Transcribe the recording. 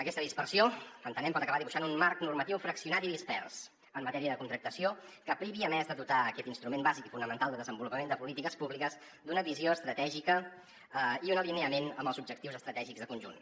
aquesta dispersió entenem pot acabar dibuixant un marc normatiu fraccionat i dispers en matèria de contractació que privi a més de dotar aquest instrument bàsic i fonamental de desenvolupament de polítiques públiques d’una visió estratègica i un alineament amb els objectius estratègics de conjunt